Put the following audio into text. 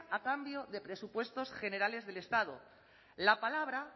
a cambio de presupuestos generales del estado la palabra